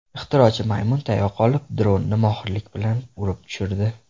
Ixtirochi maymun tayoq olib, dronni mohirlik bilan urib tushirdi.